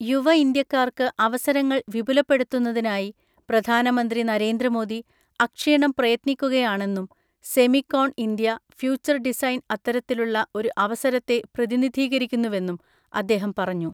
യുവ ഇന്ത്യക്കാർക്ക് അവസരങ്ങൾ വിപുലപ്പെടുത്തുന്നതിനായി പ്രധാനമന്ത്രി നരേന്ദ്ര മോദി അക്ഷീണം പ്രയത്നിക്കുകയാണെന്നും സെമിക്കോൺഇന്ത്യ ഫ്യൂച്ചർ ഡിസൈൻ അത്തരത്തിലുള്ള ഒരു അവസരത്തെ പ്രതിനിധീകരിക്കുന്നുവെന്നും അദ്ദേഹം പറഞ്ഞു.